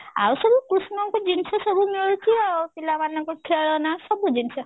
ଆଉ ସବୁ କୃଷ୍ଣ ଙ୍କ ଜିନିଷ ସବୁ ମିଳୁଛି ଆଉ ପିଲାମାନଙ୍କ ଖେଳଣା ସବୁ ଜିନିଷ